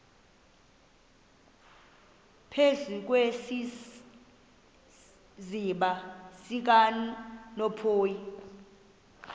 phezu kwesiziba sikanophoyi